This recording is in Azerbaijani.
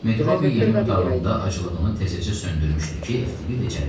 Metrobi yemək otağında aclığını təzəcə söndürmüşdü ki, FTBida içəri girdi.